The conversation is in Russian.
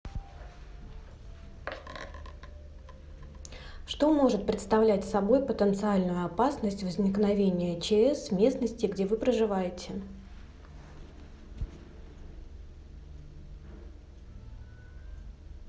что может представлять собой потенциальную опасность возникновения чс в местности где вы проживаете